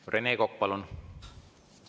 Rene Kokk, palun!